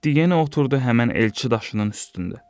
Getdi yenə oturdu həmin elçi daşının üstündə.